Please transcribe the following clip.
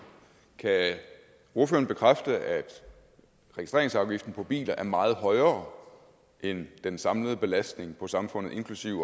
kan ordføreren bekræfte at registreringsafgiften på biler er meget højere end den samlede belastning på samfundet inklusive